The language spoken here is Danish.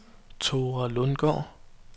Thora Lundgaard